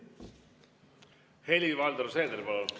Helir-Valdor Seeder, palun!